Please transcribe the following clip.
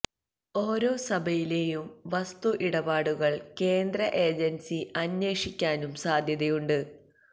ഓരോ സഭയിലേയും വസ്തു ഇടപാടുകൾ കേന്ദ്ര ഏജൻസി അന്വേഷിക്കാനും സാധ്യതയുണ്ട്